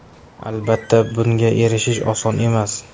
Albatta, bunga erishish oson emas.